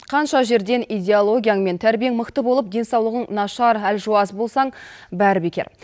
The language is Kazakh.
қанша жерден идеологияң мен тәрбиең мықты болып денсаулығың нашар әлжуаз болсаң бәрі бекер